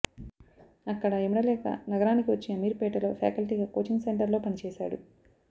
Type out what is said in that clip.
అక్కడ ఇమడలేక నగరానికి వచ్చి అమీర్పేటలో ఫ్యాకల్టీగా కోచింగ్ సెంటర్లో పనిచేశాడు